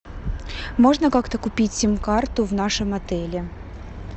можно как то купить сим карту в нашем отеле